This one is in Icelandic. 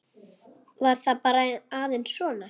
Var það bara aðeins svona?